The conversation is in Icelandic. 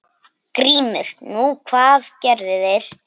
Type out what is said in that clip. GRÍMUR: Nú, hvað gerðu þeir?